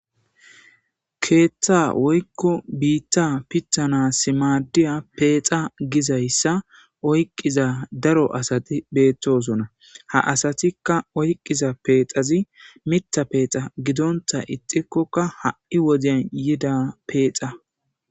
Keeththa woykko biitta pitthana simaadiya peexa gizayssa oyqqiza daro asati beettosona haasatikka oyqqiza peexazi mitha peexa gidonta ixikkoka ha'i woziyan yida peexa.